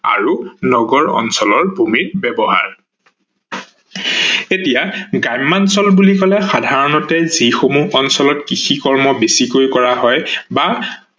আৰু নগৰ অঞ্চল ভূমিৰ ব্যৱহাৰ ।এতিয়া গ্ৰাম্যাঞ্চল বুলি কলে সাধাৰনতে যি সমূহ অঞ্চলত কৃষি কৰ্ম বেছিকৈ কৰা হয় বা